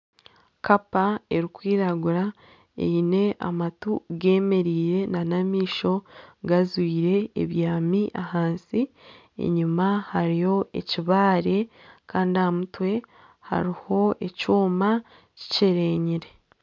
Kapa erikwiragura eine amatu gemereire nana amaisho gajwiire ebyami ahansi enyuma hariyo ekibaare Kandi ahamutwe hariho ekyooma kikyerenyire.